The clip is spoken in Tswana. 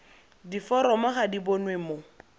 diforomo ga di bonwe mo